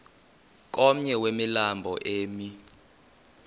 komnye wemilambo emi